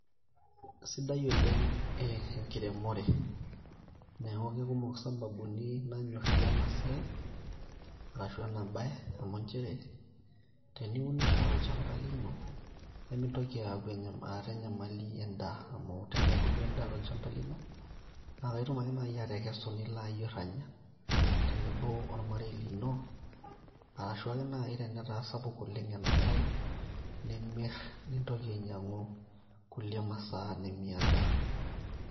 kasidai oleng' enkiremore neeku kekumok i sababuni nanyorrie ena siai arashu ena baye amu nchere teniunisho tolchamba lino nemintoki aaku, aata enyamali endaa amu tenebulu endaa tolchamba lino naa kaitum ake naaji atekesu nilo ayierr anya tenebo ormarei lino arashuake naaji tenetaa sapuk oleng enamirainimirr nintoki ainyiang'u kulie masaa nimiata.